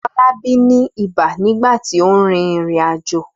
Fọlábí ní ibà nígbà tí ó rìnrìn-àjò.